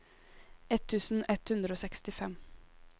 ett tusen ett hundre og sekstifem